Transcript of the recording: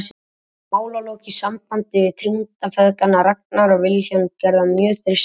Málalok í sambandi við tengdafeðgana Ragnar og Vilhjálm gerðu hann mjög þyrstan.